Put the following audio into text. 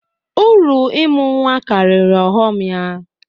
Uru ịmụ nnwa karịrị ọghọm ya